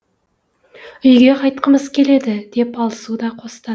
үйге қайтқымыз келеді деп алсу да қостады